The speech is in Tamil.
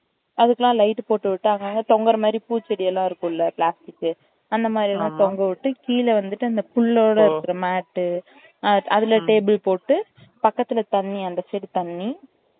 அதுக்கு எல்லாம் light போட்டுவிட்டு அங்க அங்க தொங்கற மாறி பூ செடி எல்லாம் இருக்கும்ல plastic அந்த மாறி எல்லாம் தொங்க விட்டு கீழ வந்துட்டு அந்த புல்லோட இருக்குற mat அதுல table போட்டு பக்கத்துல தண்ணி அந்த side தண்ணி